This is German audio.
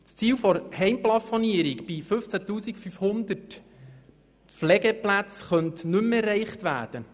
Das Ziel der Heimplafonierung bei 15 500 Pflegeplätzen könnte nicht mehr erreicht werden.